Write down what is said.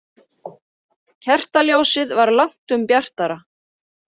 Kertaljósið var langtum bjartara.